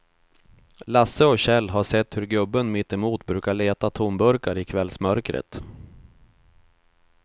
Lasse och Kjell har sett hur gubben mittemot brukar leta tomburkar i kvällsmörkret.